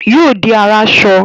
Yóò di aráṣọ